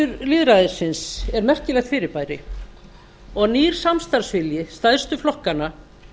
nýsköpunarkraftur lýðræðisins er merkilegt fyrirbæri og nýr samstarfsvilji stærstu flokkanna